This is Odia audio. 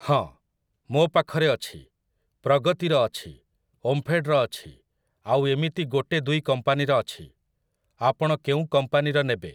ହଁ, ମୋ ପାଖରେ ଅଛି, ପ୍ରଗତିର ଅଛି, ଓମ୍ଫେଡ୍‌ର ଅଛି ଆଉ ଏମିତି ଗୋଟେ ଦୁଇ କମ୍ପାନୀର ଅଛି । ଆପଣ କେଉଁ କମ୍ପାନୀର ନେବେ?